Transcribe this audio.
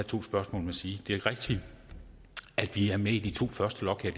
to spørgsmål sige det er rigtigt at vi er med i de to første lot her